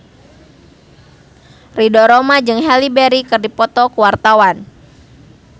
Ridho Roma jeung Halle Berry keur dipoto ku wartawan